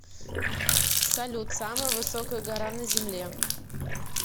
салют самая высокая гора на земле